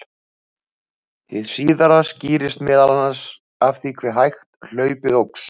Hið síðara skýrist meðal annars af því hve hægt hlaupið óx.